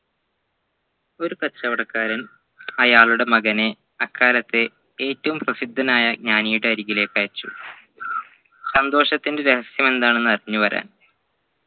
ഒരു കച്ചവടക്കാരൻ അയാളുടെ മകനെ അക്കാലത്തെ ഏറ്റവും പ്രസിദ്ധനായ ജ്ഞാനിയുടെ അരികിലേക്കു അയച്ചു സന്തോഷത്തിൻറെ രഹസ്യമെന്താണെന്ന് അറിഞ്ഞു വരാൻ